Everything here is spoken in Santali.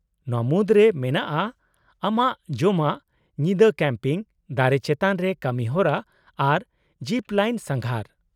-ᱱᱚᱶᱟ ᱢᱩᱫᱽᱨᱮ ᱢᱮᱱᱟᱜᱼᱟ ᱟᱢᱟᱜ ᱡᱚᱢᱟᱜ, ᱧᱤᱫᱟᱹ ᱠᱮᱢᱯᱤᱝ, ᱫᱟᱨᱮ ᱪᱮᱛᱟᱱ ᱨᱮ ᱠᱟᱹᱢᱤᱦᱚᱨᱟ, ᱟᱨ ᱡᱤᱯᱼᱞᱟᱭᱤᱱ ᱥᱟᱸᱜᱷᱟᱨ ᱾